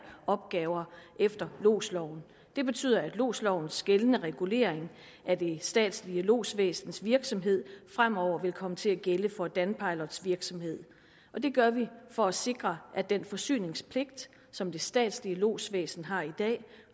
opgaver efter lodsloven det betyder at lodslovens gældende regulering af det statslige lodsvæsens virksomhed fremover vil komme til at gælde for danpilots virksomhed og det gør vi for at sikre at den forsyningspligt som det statslige lodsvæsen har i dag